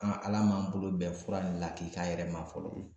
An ala m'an bolo bɛn fura in lakika yɛrɛ ma fɔlɔ